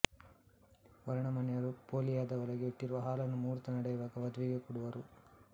ವರನ ಮನೆಯವರು ಪೋಳಿಯದ ಒಳಗೆ ಇಟ್ಟಿರುವ ಹಾಲನ್ನು ಮೂಹೂರ್ತ ನಡೆಯುವಾಗ ವಧುವಿಗೆ ಕೊಡುವರು